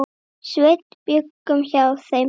Sveinn bjuggum hjá þeim pabba.